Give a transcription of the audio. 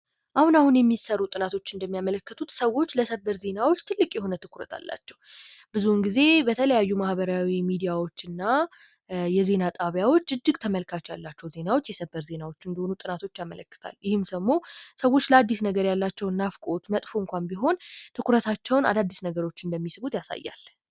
አሁን አሁን የሚሰሩ ጥናቶች እንደሚያመለክቱት ሰዎች ለሰበር ዜናዎች ትልቅ የሆነ ትኩረት አላቸው። ብዙውን ጊዜ በተለያዩ ማህበራዊ ሚዲያዎች እና የዜና ጣቢያዎች እጅግ ተመልካች ያላቸው ዜናዎች የሰበር ዜናዎች እንደሆኑ ጥናቶች ያመለክታሉ። ይህም ደግሞ ሰዎች ለአዲስ ነገር ያላቸውን ናፍቆት መጥፎ እንኳን ቢሆን፤ ትኩረታቸውን አዳዲስ ነገሮችን እንደሚስቡት ያሳያል።